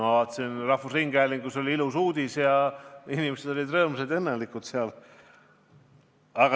Ma vaatasin, et Eesti Rahvusringhäälingus oli selle kohta ilus uudis, inimesed olid seal rõõmsad ja õnnelikud.